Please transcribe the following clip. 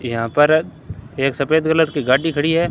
यहां पर एक सफेद कलर की गाड़ी खड़ी है।